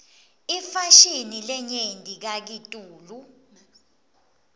inefashini lenyenti kakitulu